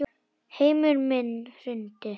Heimur minn hrundi.